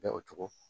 Bɛɛ o cogo